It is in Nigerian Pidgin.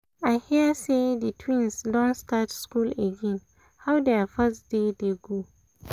i hear say the twins don start school again — how their first day dey go?